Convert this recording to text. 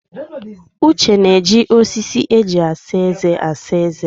Uche na-eji osisi eji asa eze asa eze ya.